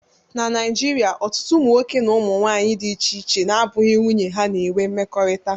Na Naijiria, ọtụtụ ụmụnwoke na ụmụ nwanyị dị iche iche na-abụghị nwunye ha na-enwe mmekọrịta